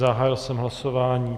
Zahájil jsem hlasování.